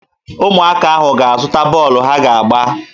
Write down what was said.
Ụmụaka ahụ ga-aga zụta bọọlụ ha ga-agba